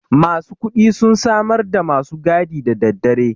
masu kuɗi sun samarda masu gadi daddadare